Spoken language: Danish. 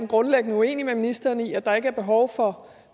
grundlæggende uenig med ministeren i at der ikke er behov for